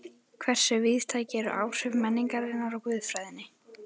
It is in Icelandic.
Hversu víðtæk eru áhrif menningarinnar á guðfræðina?